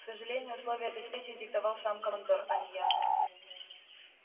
к сожалению условия этой встречи диктовал сам командор а не я